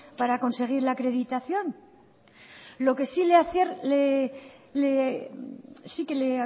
para conseguir la acreditación lo que sí que le